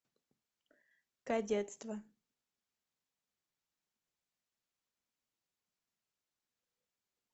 кадетство